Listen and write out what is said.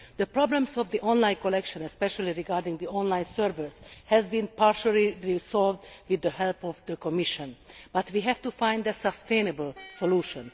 The problems with the online collection, especially with the online servers, have been partially resolved with the help of the Commission. But we have to find a sustainable solution.